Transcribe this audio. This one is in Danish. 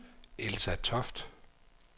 Elsa Toft